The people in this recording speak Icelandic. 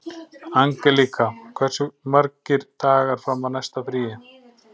Angelíka, hversu margir dagar fram að næsta fríi?